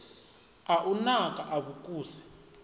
a u naka a vhukuse